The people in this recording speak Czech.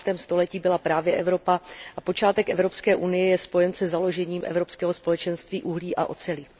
19. století byla právě Evropa a počátek Evropské unie je spojen se založením Evropského společenství uhlí a oceli.